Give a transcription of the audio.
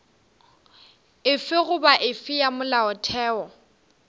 efe goba efe ya molaotheo